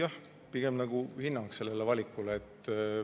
See oli pigem hinnang sellele valikule.